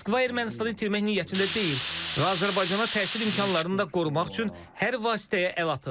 Moskva Ermənistanı itirmək niyyətində deyil və Azərbaycana təsir imkanlarını da qorumaq üçün hər vasitəyə əl atır.